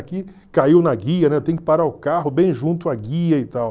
Aqui caiu na guia, né, tem que parar o carro bem junto à guia e tal.